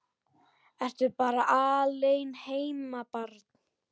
Ertu bara alein heima barn?